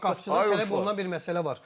Qapıçı üçün tələb olunan bir məsələ var.